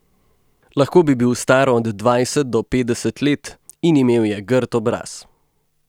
Lahko bi bil star od dvajset do petdeset let in imel je grd obraz.